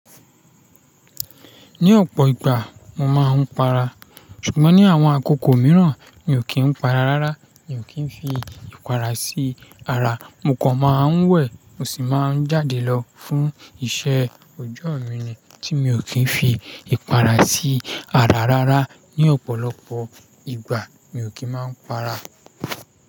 Ní ọ̀pọ̀ ìgbà mo máa ń para, ṣùgbọ́n ní àwọn àkókò mìíràn mi ò kí ń para rárá. Mi ò kí ń fi ìpara sí ara, mo kàn máa ń wẹ̀, mo sì máa ń jáde lọ fún iṣẹ́ ọjọ́ mi ni tí mi ò kí ń fi ìpara sí ara rárá. Ní ọ̀pọ̀lọpọ̀ ìgbà mi ò kí ń máa ń para.